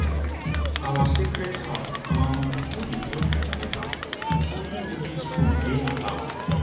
our sacred herb um no dey touch with metalonly wooden spoon dey allowed